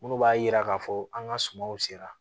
Minnu b'a yira k'a fɔ an ka sumaw sera